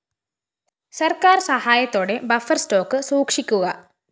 സര്‍ക്കാര്‍ സഹായത്തോടെ buffer stock സൂക്ഷിക്കുക